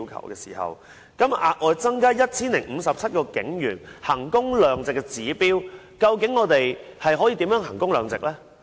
現在警務處要額外增加 1,057 名警員，究竟我們如何能夠衡工量值呢？